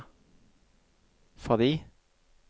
fordi